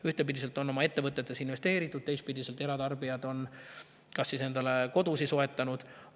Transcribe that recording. Ühtpidi on oma ettevõtetesse investeeritud, teistpidi on eratarbijad endale kodusid soetanud.